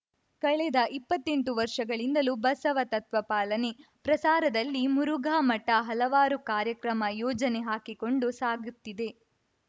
ಕಳೆದ ಇಪ್ಪತ್ತೆಂಟು ವರ್ಷಗಳಿಂದಲೂ ಬಸವ ತತ್ವ ಪಾಲನೆ ಪ್ರಸಾರದಲ್ಲಿ ಮುರುಘಾ ಮಠ ಹಲವಾರು ಕಾರ್ಯಕ್ರಮ ಯೋಜನೆ ಹಾಕಿಕೊಂಡು ಸಾಗುತ್ತಿದೆ